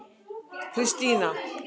Kristína